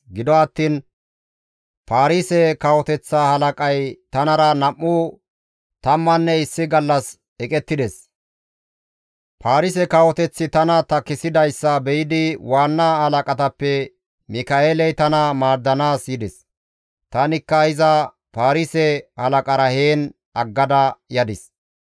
Gido attiin Paarise kawoteththa halaqay tanara nam7u tammanne issi gallas eqettides; Faarise kawoteththi tani takkisidayssa be7idi waanna halaqatappe Mika7eeley tana maaddanaas yides; tanikka iza Faarise halaqara heen aggada yadis.